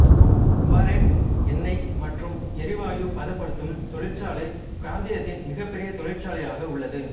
Mubarek எண்ணெய் மற்றும் எரிவாயு பதப்படுத்தும் தொழிற்சாலை பிராந்தியத்தின் மிகப்பெரிய தொழிற்சாலையாக உள்ளது